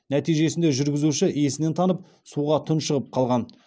нәтижесінде жүргізуші есінен танып суға тұншығып қалған